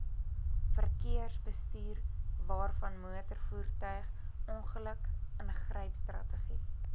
verkeersbestuurwaarvanmotorvoertuig ongeluk ingrypstrategie